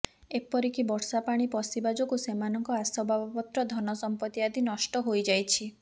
ଏପରିକି ବର୍ଷା ପାଣି ପଶିବା ଯୋଗୁଁ ସେମାନଙ୍କ ଆସବାବପତ୍ର ଧନସମ୍ପତି ଆଦି ନଷ୍ଟ ହୋଇଯାଇଛି